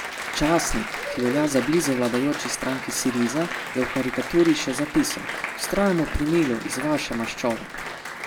Časnik, ki velja za blizu vladajoči stranki Siriza, je ob karikaturi še zapisal: "Vztrajamo pri milu iz vaše maščobe...